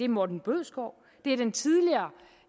morten bødskov det er den tidligere